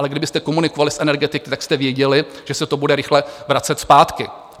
Ale kdybyste komunikovali s energetiky, tak jste věděli, že se to bude rychle vracet zpátky.